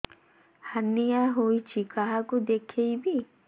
hernia ହୋଇଛି କାହାକୁ ଦେଖେଇବି